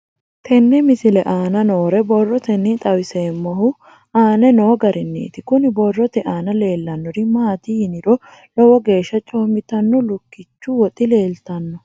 Tenne misile aana noore borroteni xawiseemohu aane noo gariniiti. Kunni borrote aana leelanori maati yiniro lowo geeshsha coomitanno lukkichchu woxi leeltano.